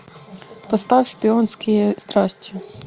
поставь шпионские страсти